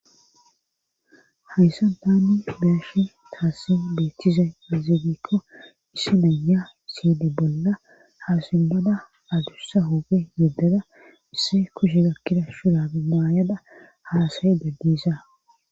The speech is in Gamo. Hayssa daani beashi taassi beethtizay yazigikko issi naya siyde bolla hasimmada adussa hooge yeddeda isse kushe gakkida shurada maayada halasay dagdiisa.